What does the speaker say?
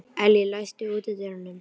Elly, læstu útidyrunum.